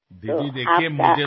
दिदी बघा तर मला